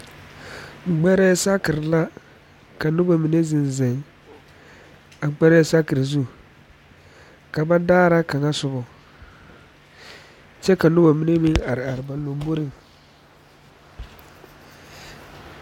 Gbɛrɛɛ saakere la ka noba mine zeŋ zeŋ a gbɛrɛɛ saakere zu ka ba daara kaŋa sobɔ kyɛ ka noba mine meŋ are are ba lamboriŋ